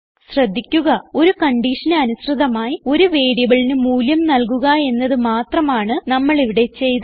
ശ്രദ്ധിക്കുക ഒരു കൺഡിഷന് അനുസൃതമായി ഒരു വേരിയബിളിന് മൂല്യം നൽകുക എന്നത് മാത്രമാണ് നമ്മൾ ഇവിടെ ചെയ്തത്